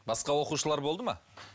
басқа оқушылар болды ма